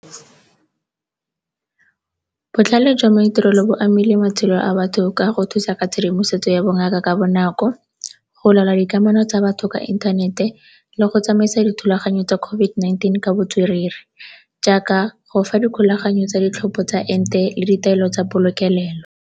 Botlhale jwa maitirelo bo amile matshelo a batho ka go thusa ka tshedimosetso ya bongaka ka bonako, go laola dikamano tsa batho ka inthanete, le go tsamaisa dithulaganyo tsa COVID-19 ka botswerere jaaka go fa dikgolaganyo tsa ditlhopho tsa ente le ditaelo tsa polokelelo.